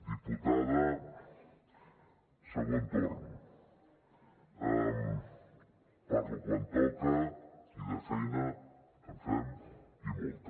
diputada segon torn parlo quan toca i de feina en fem i molta